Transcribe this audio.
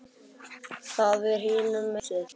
Það er hinum megin við húsið.